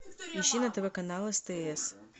ищи на тв канал стс